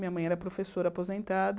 Minha mãe era professora aposentada.